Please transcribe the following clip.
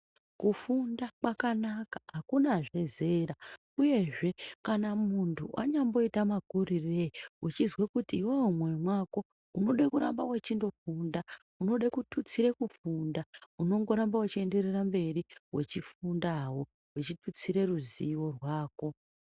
Kufunda kwakanaka, akunazve zera. Uyezve kana muntu anyamboita makurirei uchizwe kuti iwewe mumwoyo mwako unode kuramba wechindofunda, unode kututsire kufunda, unongoramba uchienderere mberi wechifundawo wechitutsire ruzivo rwako.